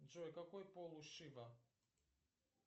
джой какой пол у шива